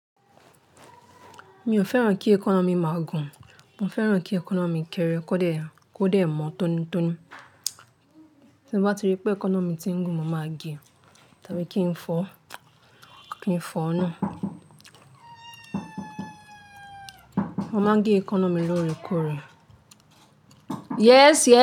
Mi ò fẹ́ràn kí èékánná mi máa gùn. Mo fẹ́ràn kí èékánná mi kéré kó dẹ mó tónítóní. Tí mo bá rí pé eekanna mi ti ń gùn, mo máa gẹ tàbí kí n fọ, kí n fọ nu. Mo máa gẹ èékánná mi lóore kóre. Yes, yes.